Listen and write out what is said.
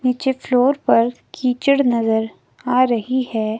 नीचे फ्लोर पर कीचड़ नजर आ रही है।